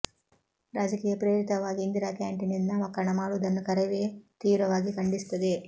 ರಾಜಕೀಯ ಪ್ರೇರಿತವಾಗಿ ಇಂದಿರಾ ಕ್ಯಾಂಟೀನ್ ಎಂದು ನಾಮಕರಣ ಮಾಡುವುದನ್ನು ಕರವೇ ತೀವ್ರವಾಗಿ ಖಂಡಿಸುತ್ತದೆ